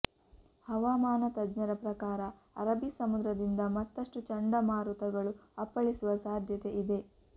ಹವಾಮಾನ ತಜ್ಞರ ಪ್ರಕಾರ ಅರಬ್ಬಿ ಸಮುದ್ರದಿಂದ ಮತ್ತಷ್ಟುಚಂಡಮಾರುತಗಳು ಅಪ್ಪಳಿಸುವ ಸಾಧ್ಯತೆ ಇದೆ